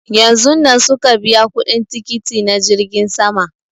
Yanzun nan suka biya kuɗin tikiti na jirgin sama